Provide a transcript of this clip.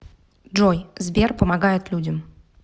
джой сбер помогает людям